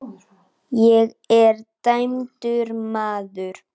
Ég er dæmdur maður.